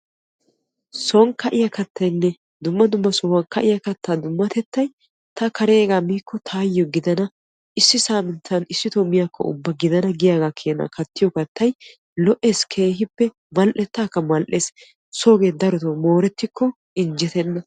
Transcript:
son ka'iya kattaynne dumma dumma sohuwan ka'iya kattay dummatees. kareegaa miikko taayo giddana issi saaminttan issitoo miyaakkko ubba gidana giyoogaa keena kattiyo kattay lo'ees keehippe mal'etaakka mal'ees. moorettikko injjetees. soogee darotoo injjetenna.